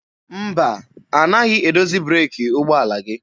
Mba, anaghị edozi breeki ụgbọala gị.